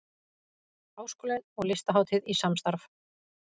Háskólinn og Listahátíð í samstarf